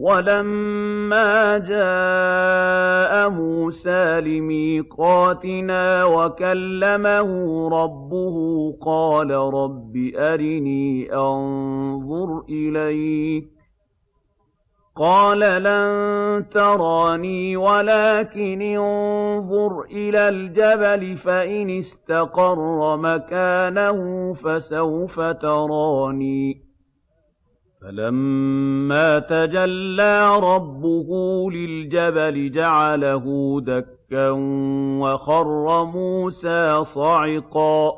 وَلَمَّا جَاءَ مُوسَىٰ لِمِيقَاتِنَا وَكَلَّمَهُ رَبُّهُ قَالَ رَبِّ أَرِنِي أَنظُرْ إِلَيْكَ ۚ قَالَ لَن تَرَانِي وَلَٰكِنِ انظُرْ إِلَى الْجَبَلِ فَإِنِ اسْتَقَرَّ مَكَانَهُ فَسَوْفَ تَرَانِي ۚ فَلَمَّا تَجَلَّىٰ رَبُّهُ لِلْجَبَلِ جَعَلَهُ دَكًّا وَخَرَّ مُوسَىٰ صَعِقًا ۚ